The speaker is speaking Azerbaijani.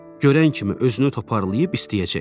Görən kimi özünü toparlayıb istəyəcək.